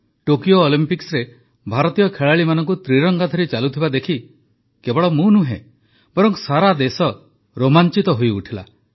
Tokyo ଅଲମ୍ପିକ୍ସରେ ଭାରତୀୟ ଖେଳାଳିମାନଙ୍କୁ ତ୍ରିରଙ୍ଗା ଧରି ଚାଲୁଥିବା ଦେଖି କେବଳ ମୁଁ ନୁହେଁ ବରଂ ସାରା ଦେଶ ରୋମାଞ୍ଚିତ ହୋଇଉଠିଲା